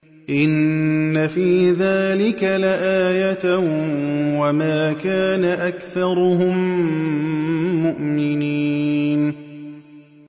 إِنَّ فِي ذَٰلِكَ لَآيَةً ۖ وَمَا كَانَ أَكْثَرُهُم مُّؤْمِنِينَ